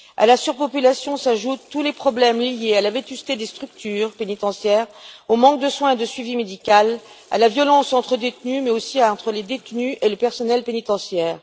À la surpopulation s'ajoutent tous les problèmes liés à la vétusté des structures pénitentiaires, au manque de soins et de suivi médical, à la violence entre détenus, mais aussi entre détenus et personnel pénitentiaire.